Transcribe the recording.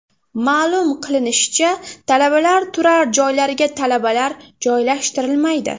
Ma’lum qilinishicha, talabalar turar joylariga talabalar joylashtirilmaydi.